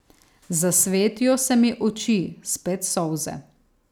Zasvetijo se mi oči, spet solze.